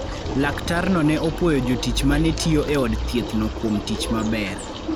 Laktarno ne opwoyo jotich ma ne tiyo e od thiethno kuom tich maber.